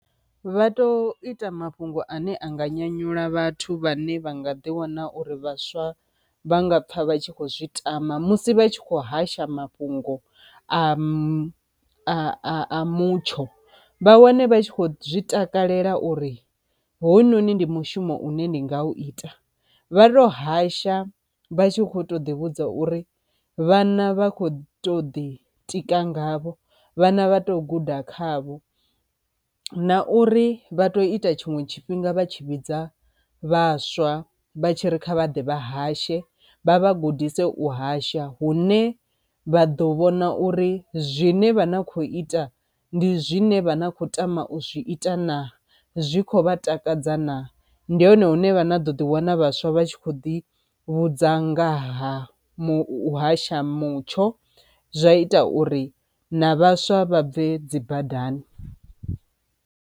Vha to ita mafhungo ane anga nyanyula vhathu vhane vha nga ḓi wana uri vhaswa vha nga pfha vha tshi kho zwi tama musi vha tshi kho hasha mafhungo a a a a mutsho. Vha wane vha tshi kho zwi takalela uri hoyu no ni ndi mushumo une ndi nga u ita, vha to hasha vha tshi kho to ḓi vhudza uri vhana vha kho to ḓi tika ngavho, vhana vha to guda khavho na uri vha to ita tshiṅwe tshifhinga vha tshi vhidza vhaswa vha tshi ri kha vha ḓe vha hashe vha vha gudise u hasha, hune vha ḓo vhona uri zwine vha na khou ita ndi zwine vha na khou tama u zwi ita na, zwi khovha takadza na, ndi hone hune vha ḓo ḓi wana vhaswa vha tshi kho ḓi vhudza ngaha muhasha mutsho zwa ita uri na vhaswa vha bve dzi badani.